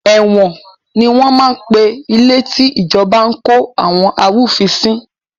Ẹ̀wọ̀n ni wọn máa ń pe ilé tí ìjọba ń kó àwọn arúfin sí